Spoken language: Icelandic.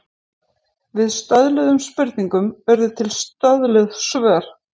Við stöðluðum spurningum urðu til stöðluð svör.